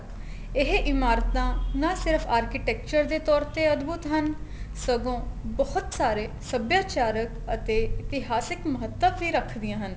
ਇਹ ਇਮਾਰਤਾ ਨਾ ਸਿਰਫ architecture ਦੇ ਤੋਰ ਤੇ ਅਧਬੁਧ ਹਨ ਸਗੋ ਬਹੁਤ ਸਾਰੇ ਸਭਿਆਚਾਰਕ ਅਤੇ ਇਤਿਹਾਸਿਕ ਮਹੱਤਵ ਵੀ ਰੱਖਦੀਆਂ ਹਨ